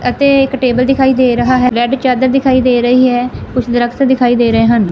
ਅਤੇ ਇੱਕ ਟੇਬਲ ਦਿਖਾਈ ਦੇ ਰਹਾ ਹੈ ਰੇਡ ਚਾਦਰ ਦਿਖਾਈ ਦੇ ਰਹੀ ਹੈ ਕੁਛ ਦਰਖਤ ਦਿਖਾਈ ਦੇ ਰਹੇ ਹਨ।